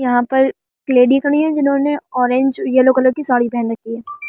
यहां पर लेडी खड़ी है जिन्होंने ऑरेंज येलो कलर की साड़ी पहन रखी है ।